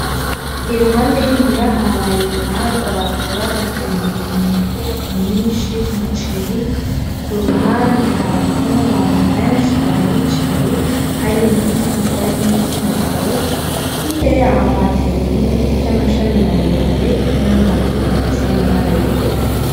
Iruhande y'i muhira habaye urubanza baza babagemuriye imifuko myinshi y'umuceri, ku ruhande hariho n'abantu benshi bahicaye harimwo igitsina gore n'igitsina gabo, hirya yaho hateyeho ibiti vy'amashami maremare n'amazu afise amabara yera.